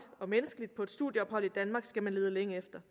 og menneskeligt på et studieophold i danmark skal man lede længe efter